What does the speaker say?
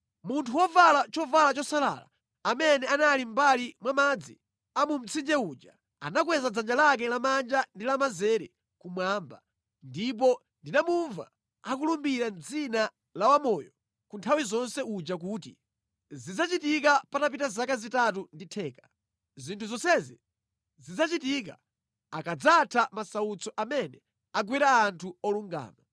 Munthu wovala chovala chosalala, amene anali mʼmbali mwa madzi a mu mtsinje uja, anakweza dzanja lake lamanja ndi lamanzere kumwamba, ndipo ndinamumva akulumbira mʼdzina la Wamoyo ku nthawi zonse uja kuti, “Zidzachitika patapita zaka zitatu ndi theka. Zinthu zonsezi zidzachitika akadzatha masautso amene agwera anthu olungama.”